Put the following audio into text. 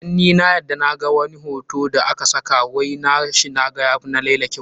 Dan ni a yadda na ga wani hoto da a ka saka wai na shi, naga ya fi laila kyau.